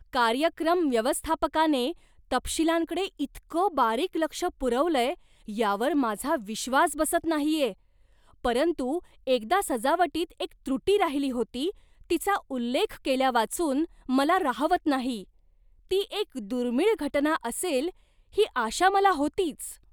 कार्यक्रम व्यवस्थापकाने तपशीलांकडे इतकं बारीक लक्ष पुरवलंय यावर माझा विश्वास बसत नाहीये, परंतु एकदा सजावटीत एक त्रुटी राहिली होती तिचा उल्लेख केल्यावाचून मला राहवत नाही. ती एक दुर्मिळ घटना असेल ही आशा मला होतीच.